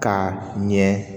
Ka ɲɛ